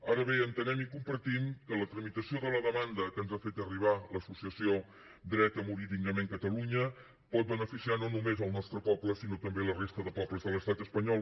ara bé entenem i compartim que la tramitació de la demanda que ens ha fet arribar l’associació dret a morir dignament catalunya pot beneficiar no només el nostre poble sinó també la resta de pobles de l’estat espanyol